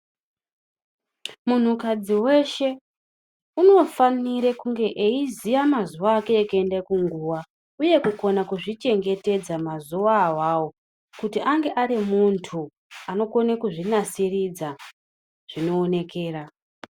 Munhukadzi weshe unofanire kunge eiziye mazuwa ake ekuende kunguwa uye kukona kuzvichengetedza mazuwa awawo kuti ange arimuntu anokone kuzvinasiridza zvinoonekera.